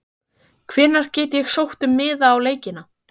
Hvenær get ég sótt um miða á leikina?